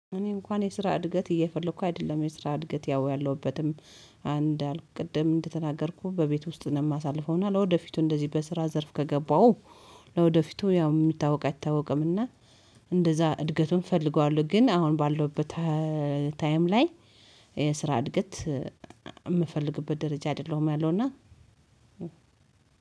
እኔ እንኳን የስራ እድገት እየፈለኩ አይደለም። የስራ እድገት ያው ያለሁበትም አንድ አልኩ ቅድም እንደተናገርኩ በቤት ውስጥ ነው የማሳልፈው። እና ለወደፊቱ እንደዚህ በስራ ዘርፍ ከገባው ለወደፊቱ ያው የሚታወቅ አይታወቅምና እንደዛ እድገቱን እፈልገዋለሁ፤ ግን አሁን ባለውበት ታይም ላይ የስራ እድገት የምፈልግበት ደረጃ አይደለሁም ያለውና። እና